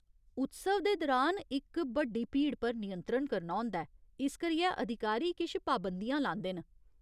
उत्सव दे दरान, इक बड्डी भीड़ पर नियंत्रण करना होंदा ऐ, इस करियै अधिकारी किश पाबंदियां लांदे न।